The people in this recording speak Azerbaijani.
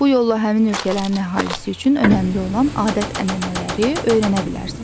Bu yolla həmin ölkələrin əhalisi üçün önəmli olan adət-ənənələri öyrənə bilərsən.